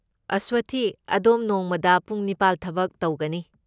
ꯑꯁꯋꯊꯤ, ꯑꯗꯣꯝ ꯅꯣꯡꯃꯗ ꯄꯨꯡ ꯅꯤꯄꯥꯜ ꯊꯕꯛ ꯇꯧꯒꯅꯤ꯫